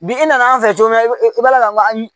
Bi i nana an fɛ cogo min na i b'a i b'a lakali